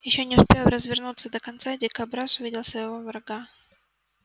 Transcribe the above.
ещё не успев развернуться до конца дикобраз увидел своего врага